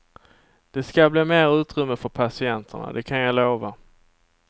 Det ska bli mer utrymme för patienterna, det kan jag lova.